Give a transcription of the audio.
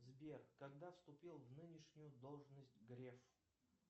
сбер когда вступил в нынешнюю должность греф